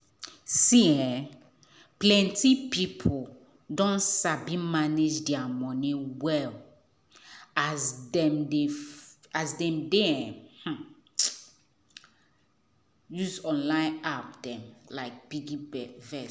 um plenty people don sabi manage their money well as dem dey um use online apps um like piggyvest.